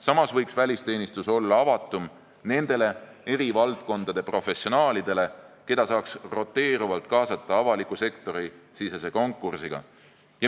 Samas võiks välisteenistus olla avatum nendele eri valdkondade professionaalidele, keda saaks roteeruvalt kaasata avaliku sektori sisese konkursiga.